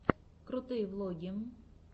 крутые влоги